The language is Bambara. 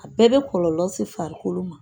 A bɛɛ bɛ kɔlɔlɔ se farikolo ma.